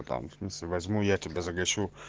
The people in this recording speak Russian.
там в смысле возьму я тебя захочу